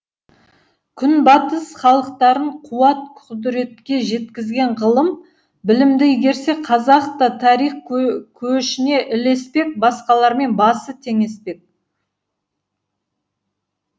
күнбатыс халықтарын қуат құдіретке жеткізген ғылым білімді игерсе қазақ та тарих көшіне ілеспек басқалармен басы теңеспек